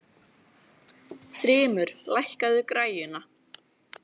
Þrymur, lækkaðu í græjunum.